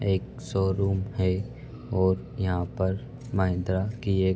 एक शोरूम है और यहाँ पर महेन्द्रा की एक --